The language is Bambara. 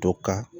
Dɔ ka